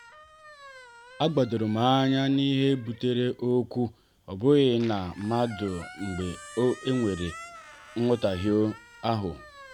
a gbadorom anya n'ihe butere okwu ọ bụghị na mmadụ mgbe e nwere nhotahio ahụ.